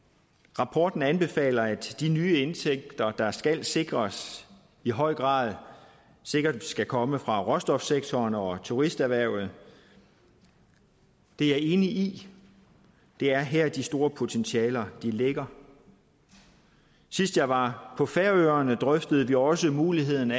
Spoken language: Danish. rapporten anbefaler at de nye indtægter der skal sikres i høj grad skal komme fra råstofsektoren og turisterhvervet det er jeg enig i det er her de store potentialer ligger sidst jeg var på færøerne drøftede vi også muligheden